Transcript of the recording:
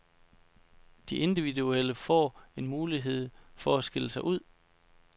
De individuelle får en mulighed mere for at skille sig ud.